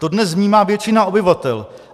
To dnes vnímá většina obyvatel.